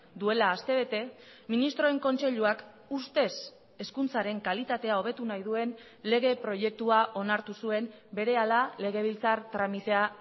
duela aste bete ministroen kontseiluak ustez hezkuntzaren kalitatea hobetu nahi duen lege proiektua onartu zuen berehala legebiltzar tramitea